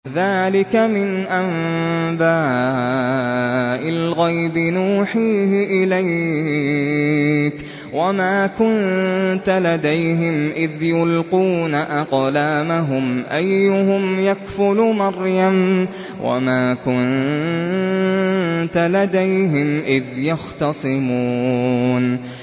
ذَٰلِكَ مِنْ أَنبَاءِ الْغَيْبِ نُوحِيهِ إِلَيْكَ ۚ وَمَا كُنتَ لَدَيْهِمْ إِذْ يُلْقُونَ أَقْلَامَهُمْ أَيُّهُمْ يَكْفُلُ مَرْيَمَ وَمَا كُنتَ لَدَيْهِمْ إِذْ يَخْتَصِمُونَ